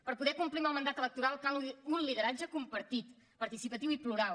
per poder complir amb el mandat electoral cal un lideratge compartit participatiu i plural